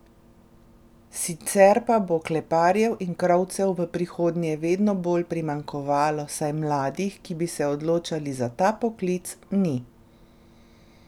Sicer pa bo kleparjev in krovcev v prihodnje vedno bolj primanjkovalo, saj mladih, ki bi se odločali za ta poklic, ni.